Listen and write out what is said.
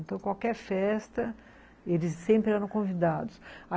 Então, qualquer festa, eles sempre eram convidados.